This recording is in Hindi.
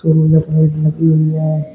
सौर ऊर्जा प्लेट लगी हुई है।